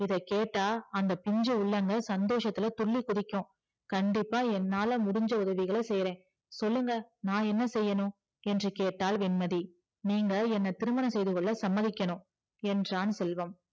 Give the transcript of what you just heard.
இத கேட்ட அந்த பிஞ்சி உள்ளங்க சந்தோஷத்துல துள்ளி குதிக்கும் கண்டிப்பா என்னால முடிஞ்சா உதவிகள செய்யற சொல்லுங்க நா என்ன செய்யணும் என்று கேட்டால் வெண்மதி நீங்க என்ன திருமணம் செய்துகொள்ள சம்மதிக்கணும் என்றான் செல்வம்